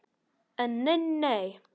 En nei nei.